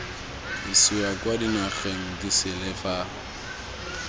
isiwa kwa dinageng disele fa